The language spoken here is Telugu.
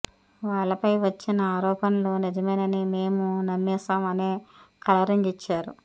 వాళ్లపై వచ్చిన ఆరోపణలు నిజమేనని మేం నమ్మేశాం అనే కలరింగు యిచ్చారు